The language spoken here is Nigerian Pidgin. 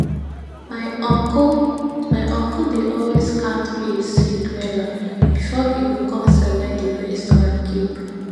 my uncle my uncle dey always count maize seed wella before e go com select di best one keep